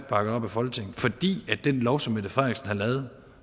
bakket op i folketinget fordi den lov som fru mette frederiksen lavede